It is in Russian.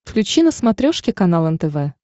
включи на смотрешке канал нтв